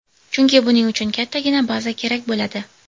Chunki buning uchun kattagina baza kerak bo‘ladi.